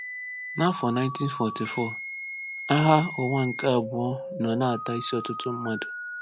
N’afọ 1944, Agha Ụwa nke Abụọ nọ na-ata isi ọtụtụ mmadụ.